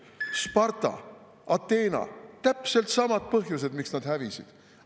Sparta, Ateena – täpselt samad põhjused, miks nad hävisid.